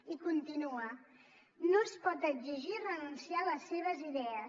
i continua no es pot exigir renunciar a les seves idees